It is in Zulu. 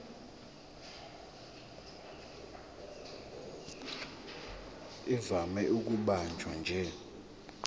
ivame ukubanjwa nje